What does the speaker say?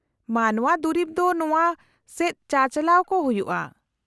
-ᱢᱟᱱᱚᱶᱟ ᱫᱩᱨᱤᱵ ᱫᱚ ᱱᱚᱶᱟ ᱥᱮᱫ ᱪᱟᱼᱪᱟᱞᱟᱣ ᱠᱚ ᱦᱩᱭᱩᱜᱼᱟ ᱾